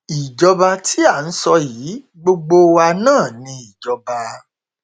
ìjọba tí à ń sọ yìí gbogbo wa náà ni ìjọba